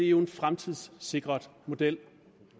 jo en fremtidssikret model